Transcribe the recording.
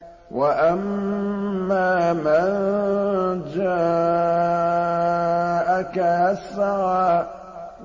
وَأَمَّا مَن جَاءَكَ يَسْعَىٰ